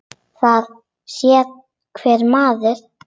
Það sér hver maður.